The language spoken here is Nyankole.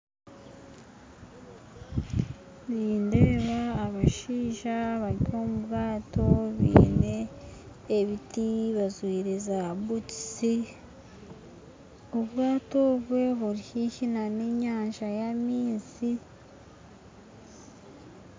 Nindeeba abashaija bari omubwato biine ebiti bajwire za butisi obwato obwe buri hihi n'enyanja y'amaizi.